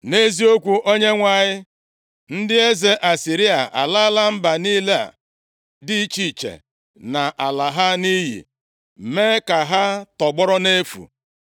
“Nʼeziokwu, Onyenwe anyị, ndị eze Asịrịa alala mba niile a dị iche iche na ala ha nʼiyi, mee ka ha tọgbọrọ nʼefu.